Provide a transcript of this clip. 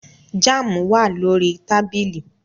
Jam wa lori tabili